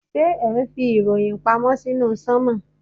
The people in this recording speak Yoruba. Ṣé ẹ̀ ń fi ìròyìn pamọ́ sínú sánmọ̀.